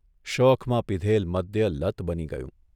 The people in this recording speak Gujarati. શોખમાં પીધેલ મદ્ય લત બની ગયું.